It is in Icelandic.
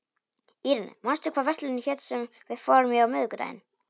Irene, manstu hvað verslunin hét sem við fórum í á miðvikudaginn?